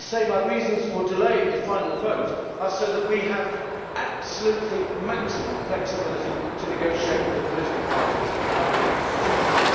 My reasons for delaying the final vote are so that we have absolutely maximum flexibility to negotiate with the political parties and with the institutions.